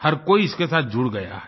हर कोई इसके साथ जुड़ गया है